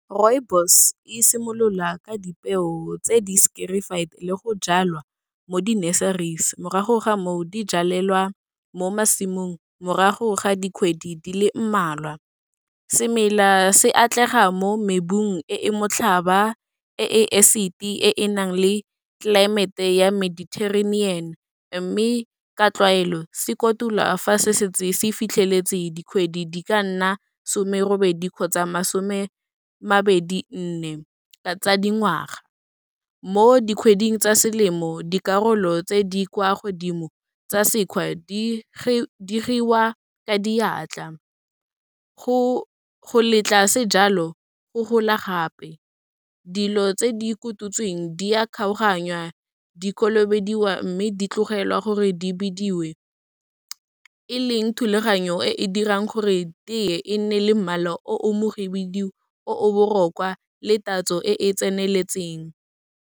Rooibos e simolola ka dipeo tse di le go jalwa mo di-nurseries, morago ga moo, di jalelelwa mo masimong morago ga dikgwedi di le mmalwa. Semela se atlega mo mebung e e motlhaba, e e acid-e, e e nang le tlelaemete ya Mediterranean, mme ka tlwaelo se kotula fa se setse se fitlheletse dikgwedi di ka nna somerobedi, kgotsa masome mabedi nne, tsa dingwaga. Mo dikgweding tsa selemo, dikarolo tse di kwa godimo tsa sekgwa, di giwa ka diatla, go letla sejalo go gola gape, dilo tse di kotutsweng, di a kgaoganya, dikolobediwa mme di tlogelwa gore di bidiwe, e leng thulaganyo e e dirang gore teye e nne le mmala o o mohibidu, o o botlhokwa le tatso e e tseneletseng.